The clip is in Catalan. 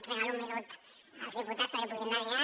regalo un minut als diputats perquè puguin anar a dinar